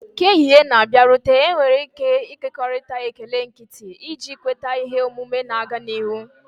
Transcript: Ka ehihie na-abịarute, enwere ike ịkekọrịta ekele nkịtị, iji kweta ihe omume na-aga n'ihu.